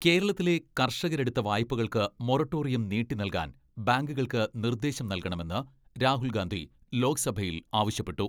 കേരളത്തിലെ കർഷകരെടുത്ത വായ്പകൾക്ക് മൊറട്ടോറിയം നീട്ടി നൽകാൻ ബാങ്കുകൾക്ക് നിർദേശം നൽകണമെന്ന് രാഹുൽഗാന്ധി ലോക്സഭയിൽ ആവശ്യപ്പെട്ടു.